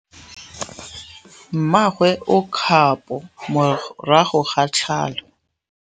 Mmagwe o kgapô morago ga tlhalô.